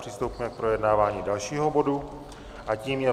Přistoupíme k projednávání dalšího bodu a tím je